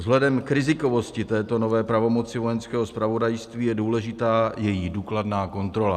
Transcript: Vzhledem k rizikovosti této nové pravomoci Vojenského zpravodajství je důležitá její důkladná kontrola.